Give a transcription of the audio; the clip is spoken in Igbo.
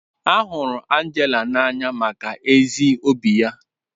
A hụrụ Angela n'anya maka ezi obi ya.